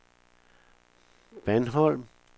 Bandholm